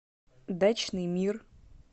дачный мир